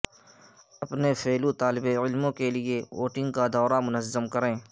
اپنے فیلو طالب علموں کے لئے ووٹنگ کا دورہ منظم کریں